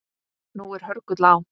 Nú er hörgull á